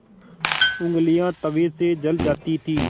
ऊँगलियाँ तवे से जल जाती थीं